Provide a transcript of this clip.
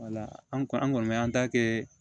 Wala an kɔni an kɔni bɛ an ta kɛ